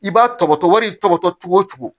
I b'a tɔgɔtɔ wari tɔgɔtɔ cogo o cogo